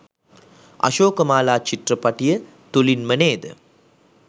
අශෝකමාලා චිත්‍රපටිය තුළින්ම නේද?